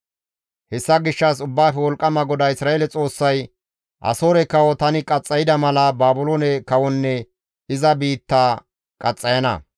Hessa gishshas Ubbaafe Wolqqama GODAA Isra7eele Xoossay, «Asoore kawo tani qaxxayda mala Baabiloone kawonne iza biitta qaxxayana.